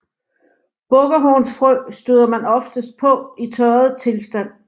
Bukkehornsfrø støder man oftest på i tørret tilstand